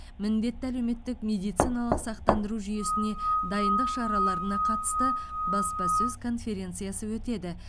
міндетті әлеуметтік медициналық сақтандыру жүйесіне дайындық шараларына қатысты баспасөз конференциясы өтеді